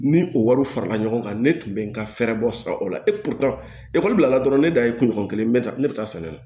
Ni o wariw farala ɲɔgɔn kan ne tun bɛ n ka fɛɛrɛ bɔ san o la ekɔli bilala dɔrɔn ne dan ye kunɲɔgɔn kelen bɛ taa ne bɛ taa sanni kɛ